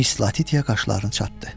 Miss Latitya qaşlarını çatdı.